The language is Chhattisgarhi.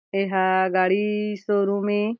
एहा गाड़ी शोरूम ए ।